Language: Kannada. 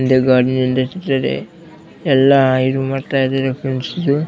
ಇದು ಎಲ್ಲ ಇದು ಮಾಡ್ತಿದ್ದಾರೆ ಫ್ರೆಂಡ್ಸ್ ಇದು.